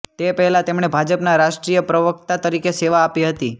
તે પહેલાં તેમણે ભાજપના રાષ્ટ્રીય પ્રવક્તા તરીકે સેવા આપી હતી